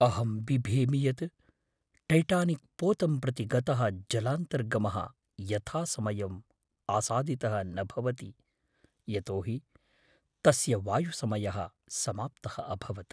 अहं बिभेमि यत् टैटानिक् पोतं प्रति गतः जलान्तर्गमः यथासमयम् आसादितः न भवति यतो हि तस्य वायुसमयः समाप्तः अभवत्।